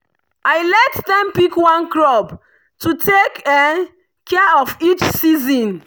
i let dem pick one crop to take care of each season.